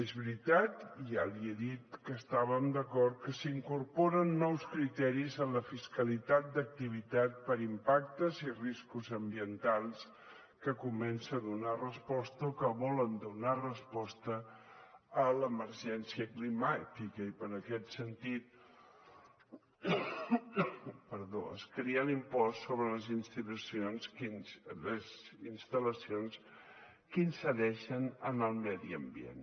és veritat i ja li he dit que hi estàvem d’acord que s’incorporen nous criteris en la fiscalitat d’activitat per impactes i riscos ambientals que comencen a donar resposta o que volen donar resposta a l’emergència climàtica i en aquest sentit es crea l’impost sobre les instal·lacions que incideixen en el medi ambient